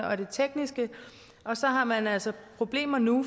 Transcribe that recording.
og det tekniske og så har man altså problemer nu